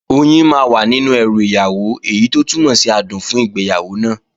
Oyin máa wà nínú ẹrù ìyàwó, èyí tó túmọ̀ sí adùn fún ìgbéyàwó náà